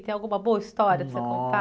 Tem alguma boa história para você